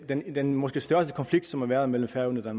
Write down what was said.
den den måske største konflikt som har været mellem færøerne og